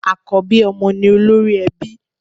Àkọ́bí ọmọ ni olórí ẹbí.